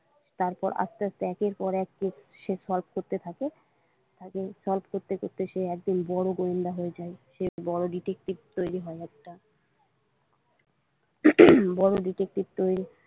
তারপর আস্তে আস্তে একের পর এক কেশ সে solve করতে থাকে solve করতে করতে সে একদিন বড়ো গোয়েন্দা হয়ে যায় সে বড়ো detective তৈরি হয় একটা উম বড়ো detective তৈরি।